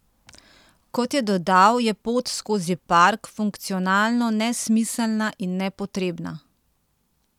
Kot je dodal, je pot skozi park funkcionalno nesmiselna in nepotrebna.